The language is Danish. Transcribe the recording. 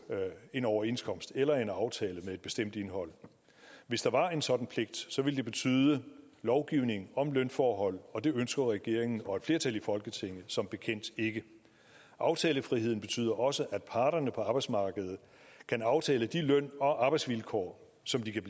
en overenskomst eller en aftale med et bestemt indhold hvis der var en sådan pligt ville det betyde lovgivning om lønforhold og det ønsker regeringen og et flertal i folketinget som bekendt ikke aftalefriheden betyder også at parterne på arbejdsmarkedet kan aftale de løn og arbejdsvilkår som de kan